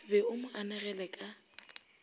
be o mo anegele ka